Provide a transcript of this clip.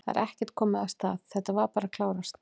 Það er ekkert komið af stað, þetta var bara að klárast?